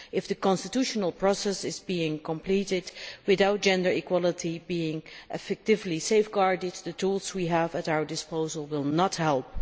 If the constitutional process is completed without gender equality being effectively safeguarded, the tools we have at our disposal will not help.